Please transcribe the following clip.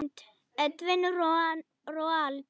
Mynd: Edwin Roald.